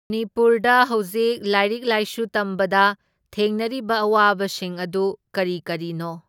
ꯃꯥꯅꯤꯄꯨꯔꯗ ꯍꯧꯖꯤꯛ ꯂꯥꯏꯔꯤꯛ ꯂꯥꯏꯁꯨ ꯇꯝꯕꯗ ꯊꯦꯡꯅꯔꯤꯕ ꯑꯋꯥꯕꯁꯤꯡ ꯑꯗꯨ ꯀꯔꯤ ꯀꯔꯤꯅꯣ?